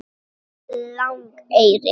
Langeyri